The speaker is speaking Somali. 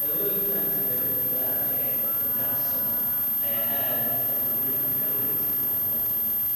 Dawooyinka antibiyootiga ah ee dapsone ayaa aad waxtar ugu leh daawaynta xaaladan.